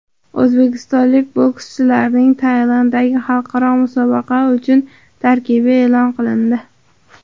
O‘zbekistonlik bokschilarning Tailanddagi xalqaro musobaqa uchun tarkibi e’lon qilindi.